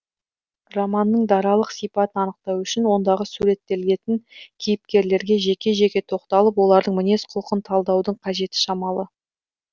романның даралық сипатын анықтау үшін ондағы суреттелетін кейіпкерлерге жеке жеке тоқталып олардың мінез құлқын талдаудың қажеті шамалы